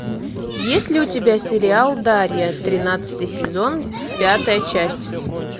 есть ли у тебя сериал дарья тринадцатый сезон пятая часть